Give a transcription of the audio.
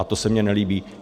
A to se mi nelíbí.